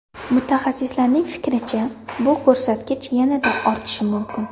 Mutaxassislarning fikricha, bu ko‘rsatkich yanada ortishi mumkin.